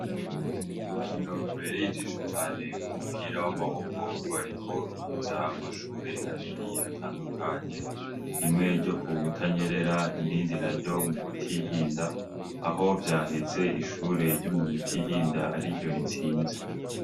Urukino rubereye ijisho cane w'umupira w'amaboko rwariko ruhuza amashure abiri atandukanye rimwe ryo ku b butanyerera irindi na ryo mu butihinda aho vyaheze ishure ryoumu butihinda ari ryo ritsinze.